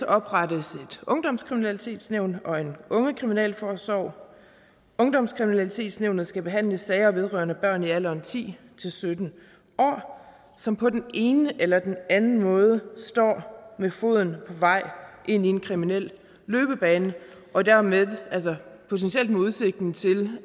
oprettes et ungdomskriminalitetsnævn og en ungekriminalforsorg ungdomskriminalitetsnævnet skal behandle sager vedrørende børn i alderen ti til sytten år som på den ene eller den anden måde står med foden på vej ind i en kriminel løbebane og dermed potentielt med udsigten til